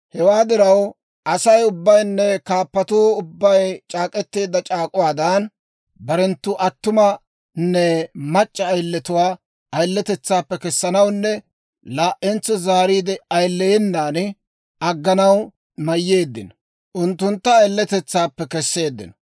Hewaa diraw, Asay ubbaynne kaappatuu ubbay c'aak'k'eteedda c'aak'uwaadan, barenttu attumanne mac'c'a ayiletuwaa ayiletetsaappe kessanawunne laa"entso zaariide ayileyenan agganaw mayyeeddino; unttuntta ayiletetsaappe kesseeddino.